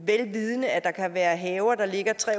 vel vidende at der kan være haver der ligger tre